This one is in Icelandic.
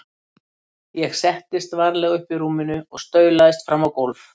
Ég settist varlega upp í rúminu og staulaðist fram á gólf.